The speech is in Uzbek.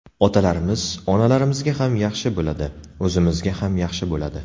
Otalarimiz, onalarimizga ham yaxshi bo‘ladi, o‘zimizga ham yaxshi bo‘ladi.